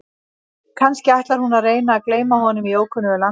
Kannski ætlar hún að reyna að gleyma honum í ókunnu landi?